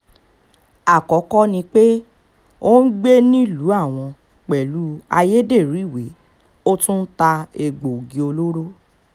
àkọ́kọ́ ni pé ó ń gbé nílùú àwọn pẹ̀lú ayédèrú ìwé ó tún ń ta egbòogi olóró